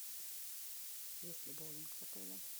есть ли боулинг в отеле